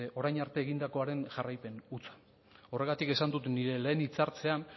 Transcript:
orain arte egindakoaren jarraipen hutsa horregatik esan dut nire lehen hitz hartzean